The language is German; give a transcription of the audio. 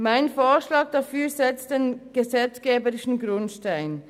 Mein Vorschlag dafür setzt den gesetzgeberischen Grundstein.